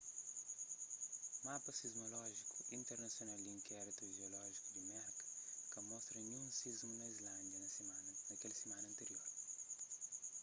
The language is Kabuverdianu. mapa sismolójiku internasional di inkéritu jiolójiku di merka ka mostra ninhun sismu na islândia na kel simana antirior